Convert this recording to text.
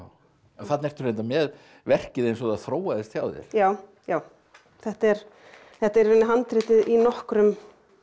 þarna ertu reyndar með verkið eins og það þróaðist hjá þér já já þetta er þetta er í rauninni handritið í nokkrum